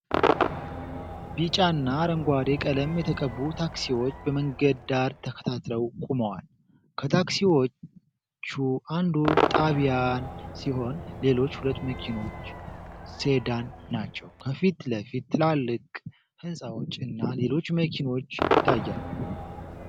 ቢጫና አረንጓዴ ቀለም የተቀቡ ታክሲዎች በመንገድ ዳር ተከታትለው ቆመዋል። ከታክሲዎቹ አንዱ ጣቢያን ሲሆን፣ ሌሎች ሁለት መኪኖች ሴዳን ናቸው። ከፊት ለፊት ትላልቅ ሕንፃዎች እና ሌሎች መኪኖች ይታያሉ።